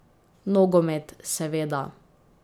Nogomet, seveda.